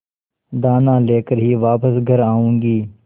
दाना लेकर ही वापस घर आऊँगी